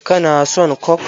Ka na son coke?